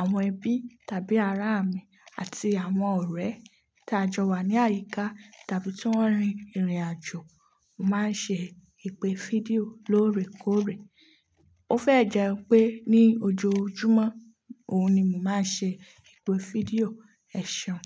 àwọn ẹbí tàbí ará mi àti àwọn ọ̀rẹ́ tí a jọ wà ní àyíká tàbí tí wọ́n rin ìrìnàjò, mo máa ń ṣe ìpè fídíò lóòrèkóòrè. Ó fẹ́ jẹ́ pé ní ojoojúmọ́, òun ni mo máa ń ṣe ìpè fídíò, ẹ̀ ṣeun.